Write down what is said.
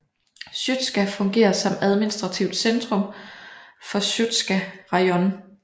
Sjostka fungerer som administrativt centrum for Sjostka rajon